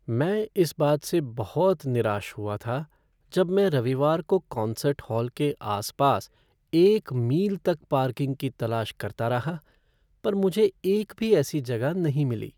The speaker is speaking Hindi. मैं इस बात से बहुत निराश हुआ था जब मैं रविवार को कॉन्सर्ट हॉल के आस पास एक मील तक पार्किंग की तलाश करता रहा, पर मुझे एक भी ऐसी जगह नहीं मिली।